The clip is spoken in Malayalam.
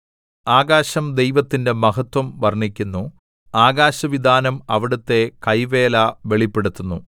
ആകാശം ദൈവത്തിന്റെ മഹത്വം വർണ്ണിക്കുന്നു ആകാശവിതാനം അവിടുത്തെ കൈവേല വെളിപ്പെടുത്തുന്നു